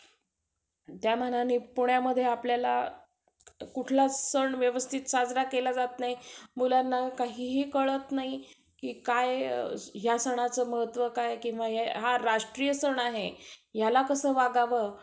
आणि बघ तुझ्या भावासाठी जरी loan घ्यायचं म्हणतेय ना तू. त्याला पण सगळे विषय त्याला सांगायचं, कि बाबा clear पाहिजे. तरं चं bank loan देते. attendance पाहिजे. ऐंशी टक्के.